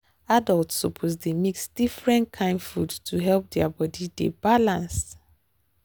adults suppose dey mix different kain food to help their body dey balance.